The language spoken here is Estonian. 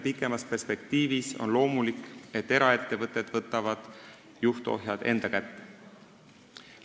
Pikemas perspektiivis on loomulik, et eraettevõtted võtavad juhtohjad enda kätte.